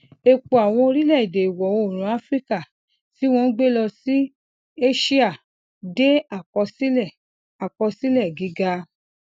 epo àwọn orílẹèdè ìwọ oòrùn áfíríkà ti won n gbe lọ sí aṣíà de akosile akosile giga